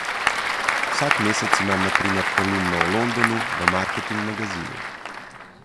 Vsak mesec imam na primer kolumno o Londonu v Marketing Magazinu.